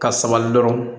Ka sabali dɔrɔn